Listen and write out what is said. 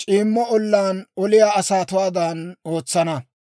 c'iimmo ollaan oliyaa asatuwaadan ootsana.